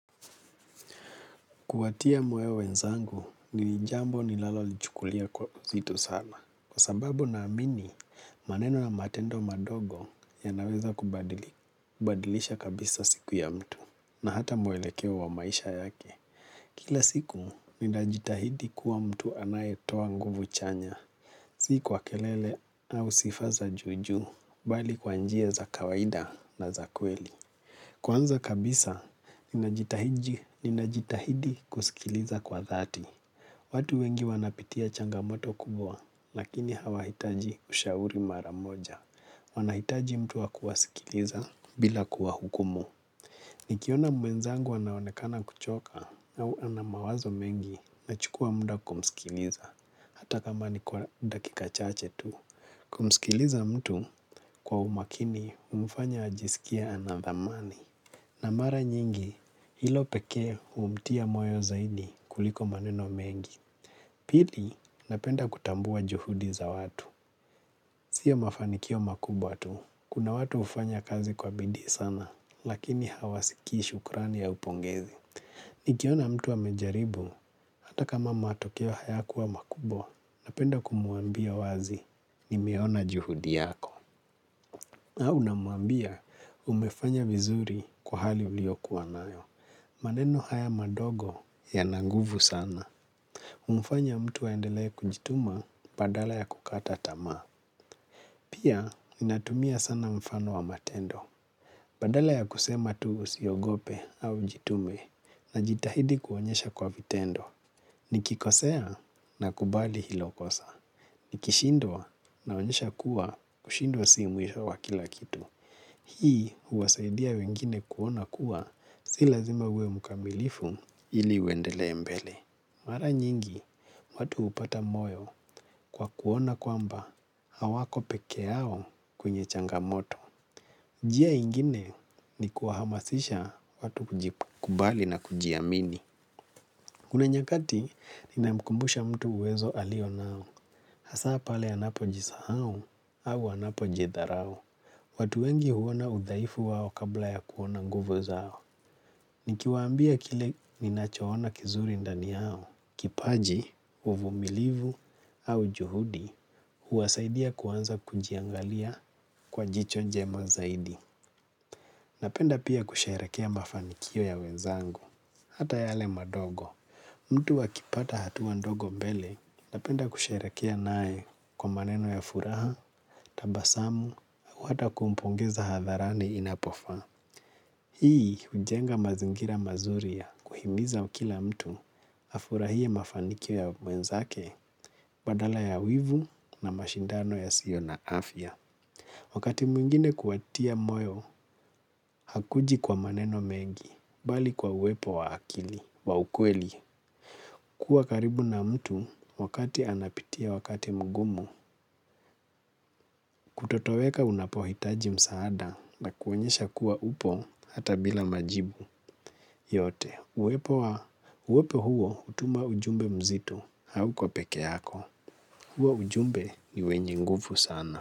Kuwatia moyo wenzangu ni jambo nilalolichukulia kwa uzito sana. Kwa sababu ninaamini maneno na matendo madogo yanaweza kubadilisha kabisa siku ya mtu na hata mwelekeo wa maisha yake. Kila siku ninajitahidi kuwa mtu anayetoa nguvu chanya. Si kwa kelele au sifa za juujuu bali kwa njia za kawaida na za kweli. Kwanza kabisa, ninajitahidi kusikiliza kwa dhati. Watu wengi wanapitia changamoto kubwa, lakini hawahitaji ushauri mara moja. Wanahitaji mtu wa kuwasikiliza bila kuwahukumu. Nikiona mwenzangu anaonekana kuchoka au ana mawazo mengi, ninachukua muda kumsikiliza. Hata kama ni kwa dakika chache tu. Kumsikiliza mtu kwa umakini humfanya ajisikie ana thamani. Na mara nyingi, hilo pekee humtia moyo zaidi kuliko maneno mengi. Pili, napenda kutambua juhudi za watu. Sio mafanikio makubwa tu. Kuna watu hufanya kazi kwa bidii sana, lakini hawasikii shukrani ya upongezi. Nikiona mtu amejaribu, hata kama matokeo hayakuwa makubwa, napenda kumwambia wazi, nimeona juhudi yako. Au namwambia, umefanya vizuri kwa hali uliokuwa nayo. Maneno haya madogo yana nguvu sana. Humfanya mtu aendelee kujituma badala ya kukata tamaa. Pia, ninatumia sana mfano wa matendo. Badala ya kusema tu usiogope au jitume ninajitahidi kuonyesha kwa vitendo. Nikikosea, ninakubali hilo kosa. Nikishindwa naonyesha kuwa kushindwa si mwisho wa kila kitu. Hii huwasaidia wengine kuona kuwa si lazima uwe mkamilifu. Ili uendelee mbele. Mara nyingi, watu hupata moyo kwa kuona kwamba hawako peke yao kwenye changamoto. Njia nyingine ni kuhamasisha watu kujikubali na kujiamini. Kuna nyakati, ninamkumbusha mtu uwezo alio nao. Hasaa pale anapojisahau au anapojidharau. Watu wengi huona udhaifu wao kabla ya kuona nguvo zao. Nikiwaambia kile ninachoona kizuri ndani yao. Kipaji, uvumilivu au juhudi huwasaidia kuanza kujiangalia kwa jicho njema zaidi. Napenda pia kusherehekea mafanikio ya wenzangu, hata yale madogo. Mtu akipata hatua ndogo mbele, napenda kusherehekea naye kwa maneno ya furaha, tabasamu, au hata kumpongeza hadharani inapofaa. Hii hujenga mazingira mazuri ya kuhimiza kila mtu afurahie mafanikio ya mwenzake badala ya wivu na mashindano yasiyo na afya. Wakati mwingine kuwatia moyo, haukuji kwa maneno mengi, bali kwa uwepo wa akili wa ukweli. Kuwa karibu na mtu wakati anapitia wakati mgumu, kutotoweka unapohitaji msaada na kuonyesha kuwa upo hata bila majibu. Yote, uwepo huo hutuma ujumbe mzito hauko peke yako, huo ujumbe ni wenye nguvu sana.